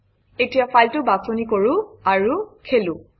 এতিয়া ফাইলটো বাছনি কৰোঁ আৰু খোলোঁ